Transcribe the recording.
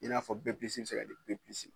I n'a fɔ B+ be se ka di B+ ma.